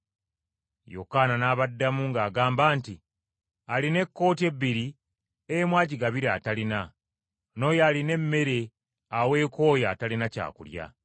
Yokaana n’abaddamu ng’agamba nti, “Alina ekkooti ebbiri, emu agigabire atalina, n’oyo alina emmere aweeko oyo atalina kyakulya.”